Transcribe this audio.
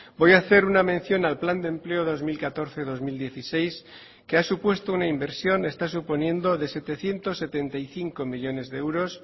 voy a hacer una mención al plan de empleo dos mil catorce dos mil dieciséis que ha supuesto una inversión está suponiendo de setecientos setenta y cinco millónes de euros